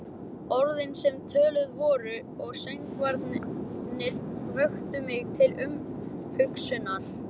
Orðin, sem töluð voru, og söngvarnir, vöktu mig til umhugsunar.